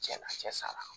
Cɛn na cɛ sara